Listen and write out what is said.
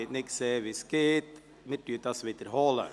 Wir wiederholen die Abstimmung.